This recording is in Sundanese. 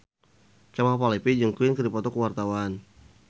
Kemal Palevi jeung Queen keur dipoto ku wartawan